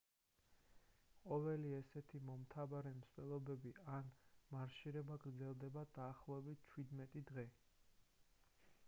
ყოველი ესეთი მომთაბარე მსვლელობები ან მარშირება გრძელდება დაახლოებით 17 დღე